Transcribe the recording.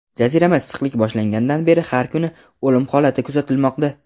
jazirama issiqlik boshlangandan beri har kuni o‘lim holati kuzatilmoqda.